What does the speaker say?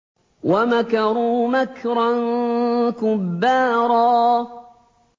وَمَكَرُوا مَكْرًا كُبَّارًا